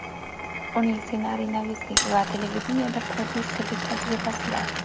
Uning ssenariynavislik va televideniyeda prodyusserlik tajribasi bor.